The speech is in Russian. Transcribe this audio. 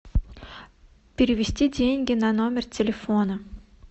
перевести деньги на номер телефона